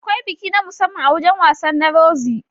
Akwai biki na musamman a wajan wasan na Rozi